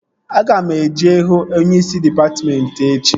Aga m eje hụ onyeisi dịpatmentị echi